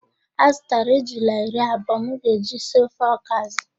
A zụtara ejula iri abụọ m ga-eji si ofe ọkazị